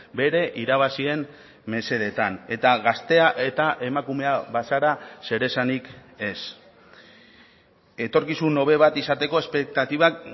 bere irabazien mesedetan eta gaztea eta emakumea bazara zer esanik ez etorkizun hobe bat izateko espektatibak